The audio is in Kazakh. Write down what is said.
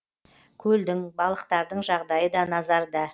көлдің балықтардың жағдайы да назарда